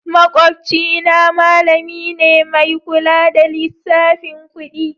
Makwabcina malami ne mai kula da lissafin kudi